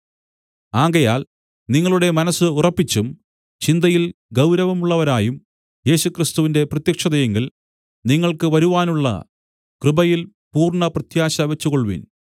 ആകയാൽ നിങ്ങളുടെ മനസ്സ് ഉറപ്പിച്ചും ചിന്തയിൽ ഗൗരവമുള്ളവരായും യേശുക്രിസ്തുവിന്റെ പ്രത്യക്ഷതയിങ്കൽ നിങ്ങൾക്ക് വരുവാനുള്ള കൃപയിൽ പൂർണ്ണ പ്രത്യാശ വെച്ചുകൊൾവിൻ